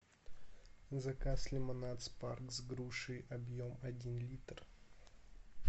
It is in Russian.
заказ лимонад спарк с грушей объем один литр